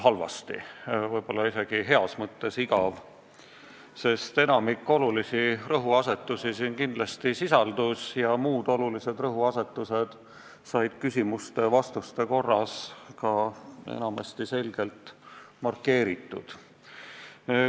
Kõne oli võib-olla isegi heas mõttes igav, sest enamik olulisi rõhuasetusi selles kindlasti sisaldus ja muud olulised rõhuasetused said küsimuste-vastuste korras ka enamasti selgelt markeeritud.